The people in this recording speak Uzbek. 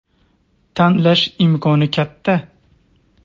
Tanlash imkoni katta.